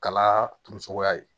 Kala turucogoya ye